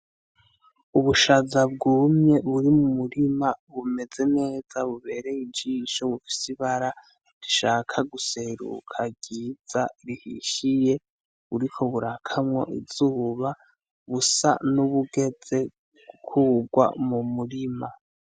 Ubushaza bwumye buri mu murima bumeze neza bubereye ijisho bufise ibara rishaka guseruka ryiza rihishiye buri ko burakamwo izuba busa n'ubugeze gukurwa mu murima.